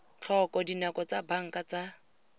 tlhoko dinako tsa banka tsa